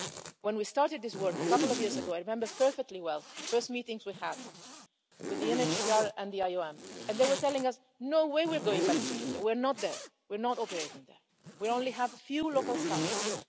When we started this work a couple of years ago, I remember perfectly well the first meetings we had with the UNCHR and the IOM, and they were telling us no way we're going back to Libya, we're not there, we're not operating there, we only have a few local staff.'